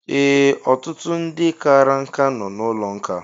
Ee, ọtụtụ ndị kara nkà nọ n'ụlọ nkà